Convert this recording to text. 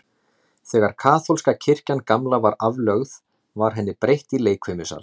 Þegar kaþólska kirkjan gamla var aflögð, var henni breytt í leikfimisal.